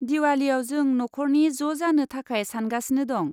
दिवालीयाव जों नखरनि ज' जानो थाखाय सानगासिनो दं।